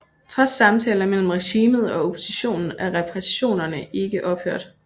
Trods samtaler mellem regimet og oppositionen er repressionerne ikke ophørt